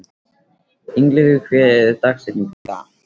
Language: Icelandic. Ingileifur, hver er dagsetningin í dag?